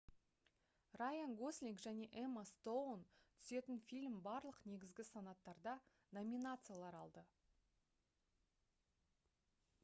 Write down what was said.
райан гослинг және эмма стоун түсетін фильм барлық негізгі санаттарда номинациялар алды